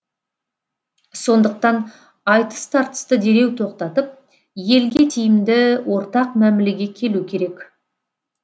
сондықтан айтыс тартысты дереу тоқтатып елге тиімді ортақ мәмілеге келу керек